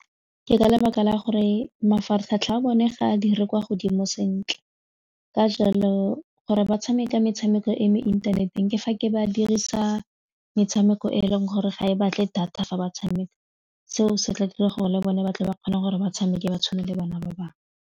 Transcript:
Ke ka lebaka la gore mafaratlhatlha a bone ga a dire kwa godimo sentle ka jalo gore ba tshameka metshameko e mo inthaneteng ke fa ke ba dirisa metshameko e e leng gore ga e batle data fa ba tshameka seo se tla dira gore le bone ba tle ba kgone gore ba tshameke ba tshwane le bana ba bangwe.